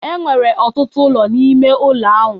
Enwere ọtụtụ ụlọ n'ime ụlọ ahụ.